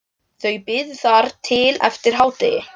Þau biðu þar til eftir hádegi.